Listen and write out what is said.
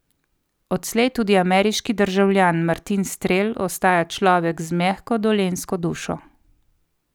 Odslej tudi ameriški državljan, Martin Strel ostaja človek z mehko dolenjsko dušo.